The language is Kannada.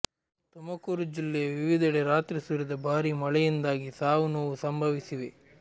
ತುಮಕೂರು ಜಿಲ್ಲೆಯ ವಿವಿಧೆಡೆ ರಾತ್ರಿ ಸುರಿದ ಭಾರಿ ಮಳೆಯಿಂದಾಗಿ ಸಾವು ನೋವು ಸಂಭವಿಸಿವೆ